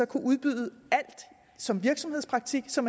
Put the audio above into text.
kunne udbyde alt som virksomhedspraktik så